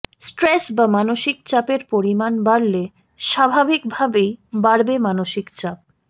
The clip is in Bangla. স্ট্রেস বা মানসিক চাপের পরিমাণ বাড়লে স্বাভাবিক ভাবেই বাড়বে মানসিক চাপ